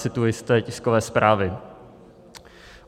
Cituji z té tiskové zprávy: